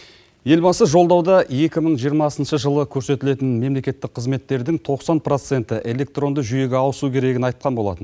елбасы жолдауда екі мың жиырмасыншы жылы көрсетілетін мемлекеттік қызметтердің тоқсан проценті электронды жүйеге ауысу керегін айтқан болатын